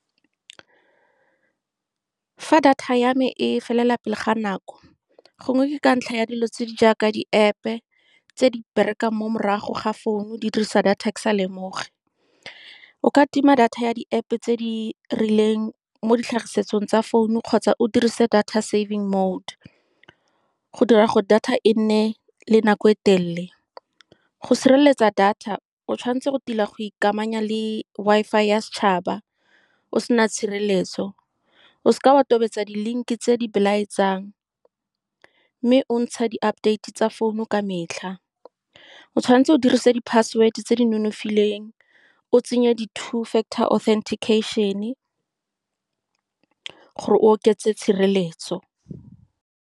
Fa data ya me e felela pele ga nako, gongwe ke ka ntlha ya dilo tse di jaaka di-App-pe tse di berekang mo morago ga founu, di dirisa data ke sa lemoge. O ka tima data ya di-App-pe tse di rileng mo ditlhagisong tsa founu, kgotsa o dirise data saving mode go dira gore data e nne le nako e telele. Go sireletsa data, o tshwanetse go tila go ikamanya le Wi-Fi ya setšhaba o sena tshireletso. O se ka wa tobetsa di-link-i tse di belaetsang, mme o ntsha di-update-e tsa founu ka metlha. O tshwanetse o dirise di-password-e tse di nonofileng, o tsenye two factor authentication-e gore o oketse tshireletso.